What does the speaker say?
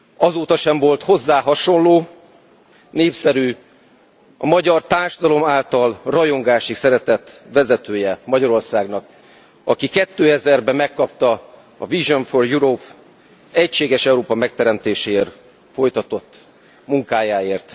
Azóta sem volt hozzá hasonló, népszerű, a magyar társadalom által rajongásig szeretett vezetője Magyarországnak, aki 2000 ben megkapta a Vision for Europe díjat az egységes Európa megteremtéséért folytatott munkájáért.